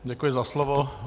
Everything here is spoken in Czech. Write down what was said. Děkuji za slovo.